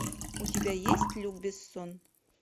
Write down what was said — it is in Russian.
у тебя есть люк бессон